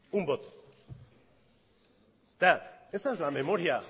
un voto esa es la memoria